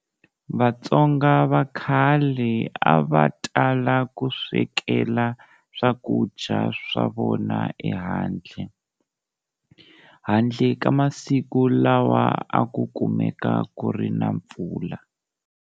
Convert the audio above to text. Vatsonga vakhale a va tala ku swekela swakudya swa vona ehandle, handle ka masiku lawa a ku kumeka ku ri na mpfula.